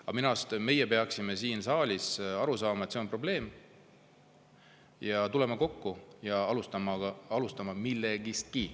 Aga minu arust meie peaksime siin saalis aru saama, et see on probleem, ja tulema kokku ja vähemalt millestkigi alustama.